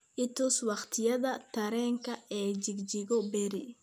i tus waqtiyada tareenka ee Chicago berri